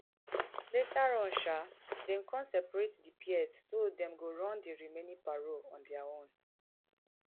later on sha dem come separate di pairs so dem go run di remaining parol on dia own